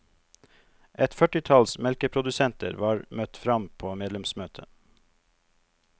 Et førtitalls melkeprodusenter var møtt fram på medlemsmøtet.